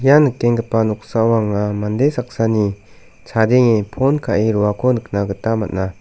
ia nikenggipa noksao anga mande saksani chadenge pon ka·e roako nikna gita man·a.